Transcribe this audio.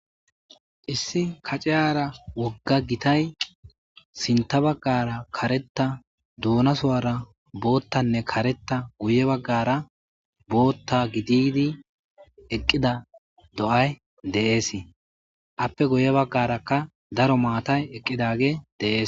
Issi kaciyara woga gitay sinta bagara kareta dunasara botanne kareta guye bagara bota gididi eqida do'ay de'ese ape guye bagarakka daro matay eqidagey de'ese